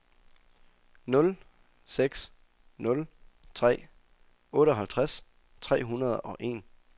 nul seks nul tre otteoghalvtreds tre hundrede og en